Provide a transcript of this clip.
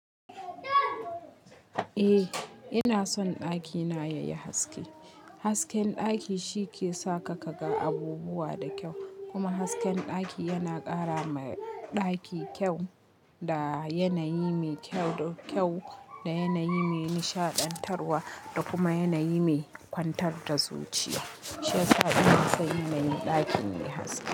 Eh ina son ɗakina yayi haske. Hasken ɗaki shi ke sa ka ga abubuwa da kyau kuma hasken ɗaki yana ƙara ma ɗaki kyau da yanayi mai kyau da kyau da yanayi mai nishaɗantarwa da kuma yanayi mai kwantar da zuciya. Shi yasa ina son yanayi ɗakin mai haske.